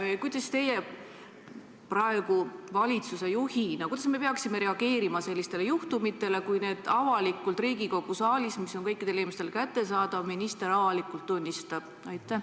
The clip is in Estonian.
Ja kuidas me teie kui valitsuse juhi arvates peaksime reageerima sellistele juhtumitele, kui minister neid avalikult Riigikogu saalis, kus toimuv on ju kõikidele inimestele kättesaadav, avalikult tunnistab?